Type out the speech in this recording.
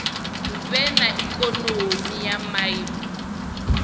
vhe na ikonomi ya maiimo